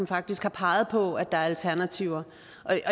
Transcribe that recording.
faktisk peger på at der er alternativer